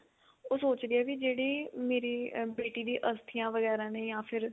ਉਹ ਸੋਚਦੀ ਆ ਵੀ ਜਿਹੜੀ ਮੇਰੀ ਬੇਟੀ ਦੀਆਂ ਅਸਥਿਆਂ ਵਗੈਰਾ ਨੇ ਜਾਂ ਫਿਰ